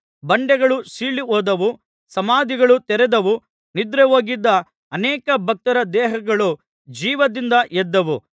ಬಂಡೆಗಳು ಸೀಳಿಹೋದವು ಸಮಾಧಿಗಳು ತೆರೆದವು ನಿದ್ರೆಹೋಗಿದ್ದ ಅನೇಕ ಭಕ್ತರ ದೇಹಗಳು ಜೀವದಿಂದ ಎದ್ದವು